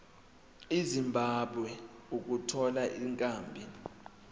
ezimbabwe ukuthola ikhambi